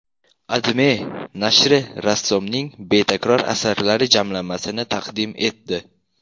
AdMe nashri rassomning betakror asarlari jamlanmasini taqdim etdi .